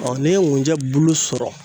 n'i ye ŋunjɛ bulu sɔrɔ